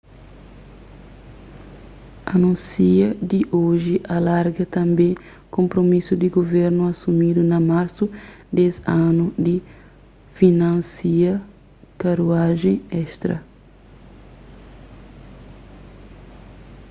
anúnsia di oji alarga tanbê konpromisu di guvernu asumidu na marsu des anu di finansia karuajen estra